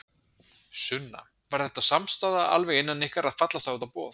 Sunna: Var þetta samstaða alveg innan ykkar að fallast á þetta boð?